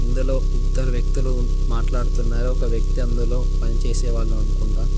ఇందులో ఇద్దరు వ్యక్తులు మాట్లాడుతున్నారు ఒక వ్యక్తి అందులో పనిచేసేవాళ్ళు అనుకుంట.